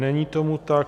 Není tomu tak.